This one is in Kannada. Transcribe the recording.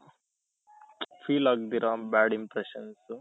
feel ಆಗ್ದಿರ bad impression